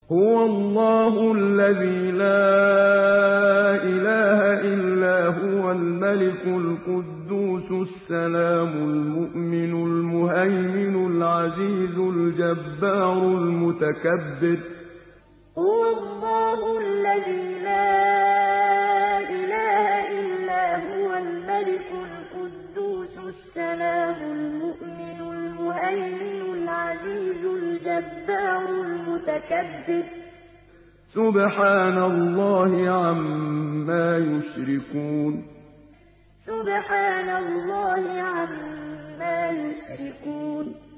هُوَ اللَّهُ الَّذِي لَا إِلَٰهَ إِلَّا هُوَ الْمَلِكُ الْقُدُّوسُ السَّلَامُ الْمُؤْمِنُ الْمُهَيْمِنُ الْعَزِيزُ الْجَبَّارُ الْمُتَكَبِّرُ ۚ سُبْحَانَ اللَّهِ عَمَّا يُشْرِكُونَ هُوَ اللَّهُ الَّذِي لَا إِلَٰهَ إِلَّا هُوَ الْمَلِكُ الْقُدُّوسُ السَّلَامُ الْمُؤْمِنُ الْمُهَيْمِنُ الْعَزِيزُ الْجَبَّارُ الْمُتَكَبِّرُ ۚ سُبْحَانَ اللَّهِ عَمَّا يُشْرِكُونَ